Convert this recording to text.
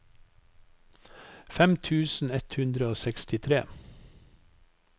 fem tusen ett hundre og sekstitre